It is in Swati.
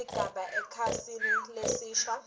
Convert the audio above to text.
sigaba ekhasini lelisha